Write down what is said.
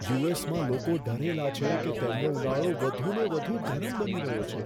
યુ.એસ.માં લોકો ડરેલા છે કે તેમનો ઉનાળો વધુને વધુ ગરમ બની રહ્યો છે.